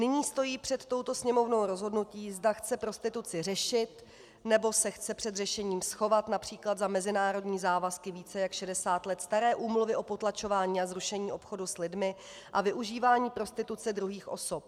Nyní stojí před touto Sněmovnou rozhodnutí, zda chce prostituci řešit, nebo se chce před řešením schovat například za mezinárodní závazky více jak 60 let staré Úmluvy o potlačování a zrušení obchodu s lidmi a využívání prostituce druhých osob.